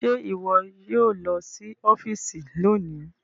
Ṣe iwọ yoo lọ si ọfiisi loni